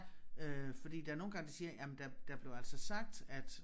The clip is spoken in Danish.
Øh fordi der nogle gange de siger jamen der der blev altså sagt at